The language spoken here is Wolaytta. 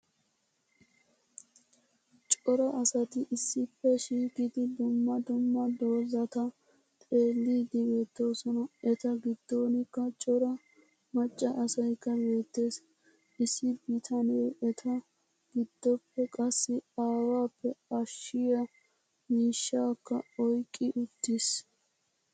coora asati issippe shiiqidi duummaa duummaa doozataa xeeliydi beettosona. eeta giddonkka coora maccaa asaykka beettees. issi bitanee eeta giddoppe qassi awaappe aashshiyaa miishshakka oyqqi uttis.